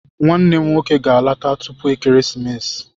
Nwannem nwoke ga-alọta tupu ekeresimesi.